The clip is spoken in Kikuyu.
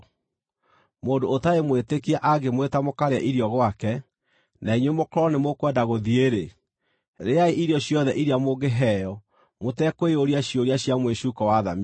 Mũndũ ũtarĩ mwĩtĩkia angĩmwĩta mũkarĩe irio gwake, na inyuĩ mũkorwo nĩ mũkwenda gũthiĩ-rĩ, rĩa irio ciothe iria mũngĩheo mũtekwĩyũria ciũria cia mwĩcuuko wa thamiri.